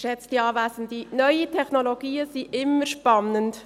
Neue Technologien sind immer spannend.